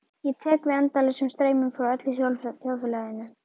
Ég tek við endalausum straumum frá öllu þjóðfélaginu.